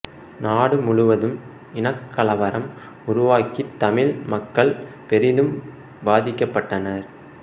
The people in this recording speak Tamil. நாடு முழுவதும் இனக்கலவரம் உருவாகித் தமிழ் மக்கள் பெரிதும் பாதிக்கப்பட்டனர்